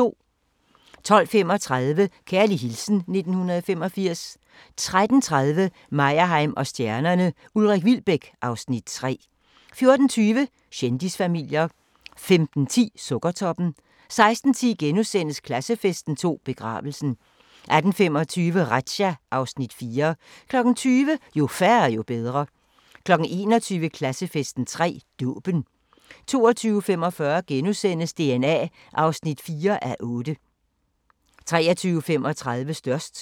12:35: Kærlig hilsen 1985 13:30: Meyerheim & stjernerne: Ulrik Wilbek (Afs. 3) 14:20: Kendisfamilier 15:10: Sukkertoppen 16:10: Klassefesten 2: Begravelsen * 18:25: Razzia (Afs. 4) 20:00: Jo færre, jo bedre 21:00: Klassefesten 3: Dåben 22:45: DNA (4:8)* 23:35: Størst